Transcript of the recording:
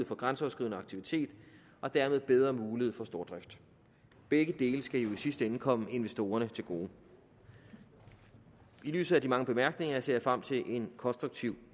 for grænseoverskridende aktivitet og dermed bedre mulighed for stordrift begge dele skal i sidste ende komme investorerne til gode i lyset af de mange bemærkninger ser jeg frem til en konstruktiv